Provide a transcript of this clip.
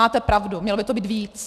Máte pravdu, mělo by to být víc.